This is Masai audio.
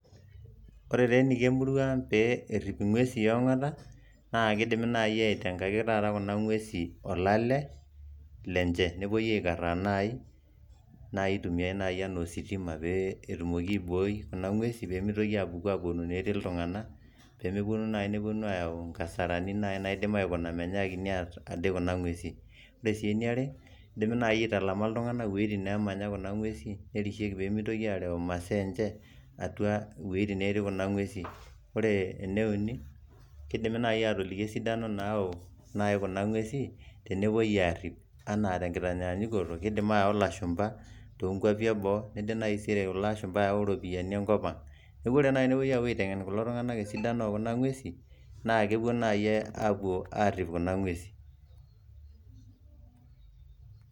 Kore taa eneiko emurua ang' eneiko pee erip inguesi e ongata, naa keidim naaji aitengaki kuna ng'wesi olale lenje, nepuoi aikaraa naaji naa keitumiai naaji anaa ositima. Pee etumokini aibooyo kuna ng'wesi pee meitoki apuonu enetii iltung'ana. Pee mepuonu naaji ayau inkasarani naaji naidim aikuna meinyakiti aar ade kuna ng'wesi. Kore sii ene aare, keidim naaji aitalama iltung'ana wuitin naamanya kuna ng'wesi nerishieki pee meitoki areu masaa enje atua iwuitin naati kuna ng'wesi. Kore ene uni, keidimi naai atooliki esidano naau naaji kuna ng'wesi tenepuoi aarip anaa tenkitaanyanyukoto, keidim aayau ilashumba too nkwapi e boo neijo naji kore kulo aashumba eyau iropiani enkop aang'. Epuo taa naaji aitengen kulo tungana esidano e kuna ng'wesi naa kepuo naaji aarip kuna ng'wesi